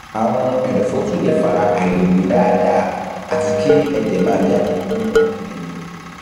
àrùn ẹdọfóró tún lè fa àìlèmí dáadáa àti kí ẹjẹ máa jáde nínú kẹlẹbẹ